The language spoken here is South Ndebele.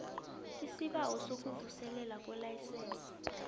isibawo sokuvuselelwa kwelayisense